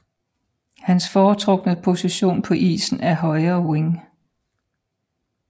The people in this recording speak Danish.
Hans foretrukne position på isen er højre wing